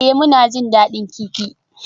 Ee, muna jin daɗin kifi.